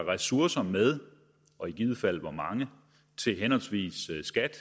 ressourcer med og i givet fald hvor mange til henholdsvis skat